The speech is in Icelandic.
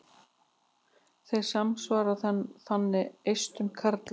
Þeir samsvara þannig eistum karla.